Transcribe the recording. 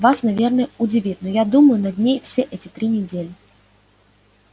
вас наверное удивит но я думаю над ней все эти три недели